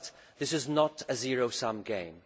This is not a zero sum game.